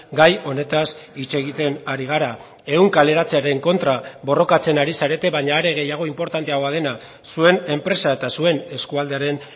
gai honetaz hitz egiten ari gara ehun kaleratzearen kontra borrokatzen ari zarete baina are gehiago inportanteagoa dena zuen enpresa eta zuen eskualdearen